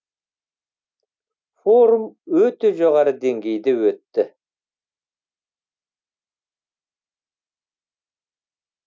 форум өте жоғары деңгейде өтті